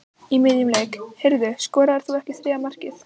Í miðjum leik: Heyrðu, skoraðir þú ekki þriðja markið?